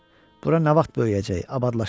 Bura nə vaxt böyüyəcək, abadlaşacaq?